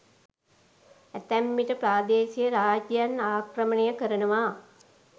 ඇතැම් විට ප්‍රාදේශීය රාජ්‍යයන් ආක්‍රමණය කරනවා.